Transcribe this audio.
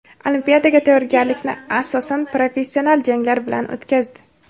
Olimpiadaga tayyorgarlikni asosan professional janglar bilan o‘tkazdi.